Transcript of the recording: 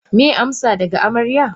Meye amsa daga amarya?